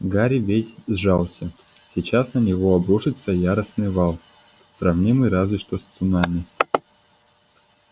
гарри весь сжался сейчас на него обрушится яростный вал сравнимый разве что с цунами